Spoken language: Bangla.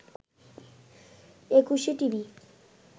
একুশে টিভি